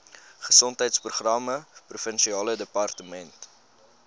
gesondheidsprogramme provinsiale departement